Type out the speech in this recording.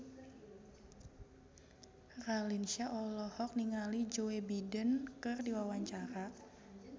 Raline Shah olohok ningali Joe Biden keur diwawancara